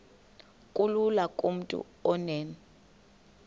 kulula kumntu onen